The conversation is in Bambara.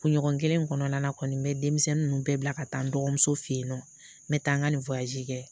Kunɲɔgɔn kelen kɔnɔna kɔni bɛ denmisɛnnin ninnu bɛɛ bila ka taa n dɔgɔmuso fɛ yen nɔ n bɛ taa n ka ni kɛ.